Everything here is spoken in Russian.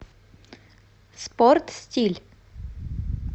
спорт стиль